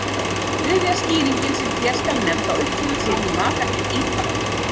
Þriðja skýringin sem hér skal nefnd á uppruna sinn í matargerð Ítala.